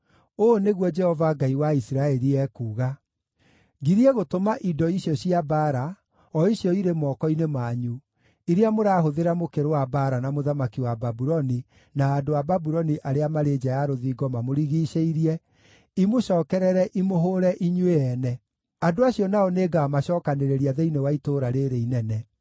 ‘Ũũ nĩguo Jehova Ngai wa Isiraeli ekuuga: Ngirie gũtũma indo icio cia mbaara, o icio irĩ moko-inĩ manyu, iria mũrahũthĩra mũkĩrũa mbaara na mũthamaki wa Babuloni na andũ a Babuloni arĩa marĩ nja ya rũthingo mamũrigiicĩirie, imũcookerere imũhũũre inyuĩ ene. Andũ acio nao nĩngamacookanĩrĩria thĩinĩ wa itũũra rĩĩrĩ inene.